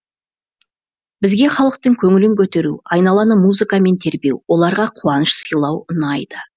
бізге халықтың көңілін көтеру айналаны музыкамен тербеу оларға қуаныш сыйлау ұнайды